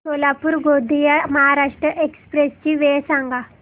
Solapur Gondia Maharashtra express ची वेळ सांगा